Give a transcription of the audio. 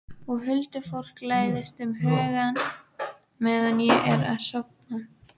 Og huldufólkið læðist um hugann meðan ég er að sofna.